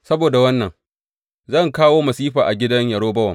Saboda wannan, zan kawo masifa a gidan Yerobowam.